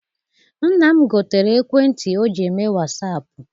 Nna m gotere ekwentị ọ ji eme wasaapụ.